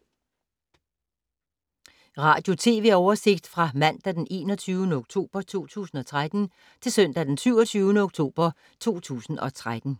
Radio/TV oversigt fra mandag d. 21. oktober 2013 til søndag d. 27. oktober 2013